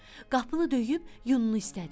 Qapını döyüb yununu istədi.